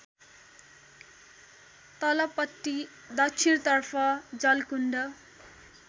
तलपट्टि दक्षिणतर्फ जलकुण्ड